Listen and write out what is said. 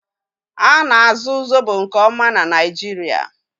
Ana-azụ Zobo nke ọma na Naịjirịa